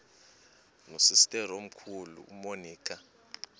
nosister omkhulu umonica